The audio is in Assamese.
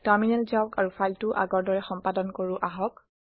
টাৰমিনেল যাওক আৰু ফাইলটো আগৰ দৰে সম্পাদন কৰো আহক